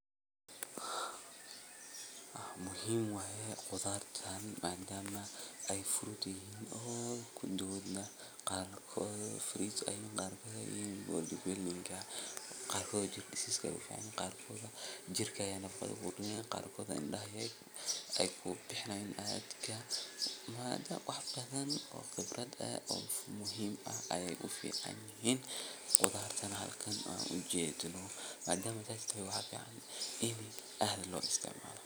Hawshan waxay muhiim weyn ugu leedahay bulshada dhexdeeda sababtoo ah waxay kor u qaadaysaa nolol wadajir ah oo bulshada dhexdeeda ka hanaqaada. Marka nin haan ag taagan la tuso, waxa uu tilmaamayaa in uu ka qayb qaadanayo howlo muhiim u ah deegaanka sida uruurinta biyaha, ilaalinta nadaafadda, ama xataa hawlo dhaqan oo dhaqaalaha bulshada horumariya. Ninkaasi wuxuu astaan u yahay dadaal iyo is xilqaamid uu muwaadin u sameeyo bulshadiisa si loo gaaro nolol wanaagsan